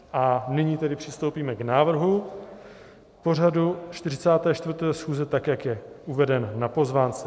A nyní tedy přistoupíme k návrhu pořadu 44. schůze, tak jak je uveden na pozvánce.